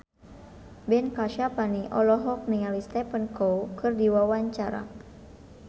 Ben Kasyafani olohok ningali Stephen Chow keur diwawancara